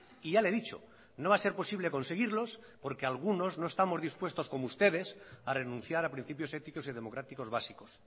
y ya le he dicho no va a ser posible conseguirlos porque algunos no estamos dispuestos como ustedes a renunciar a principios éticos y democráticos básicos